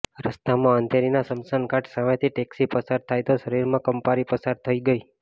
રસ્તામાં અંધેરીના સ્મશાન ઘાટ સામેથી ટેક્સી પસાર થઈ તો શરીરમાં કંપારી પસાર થઈ ગઈ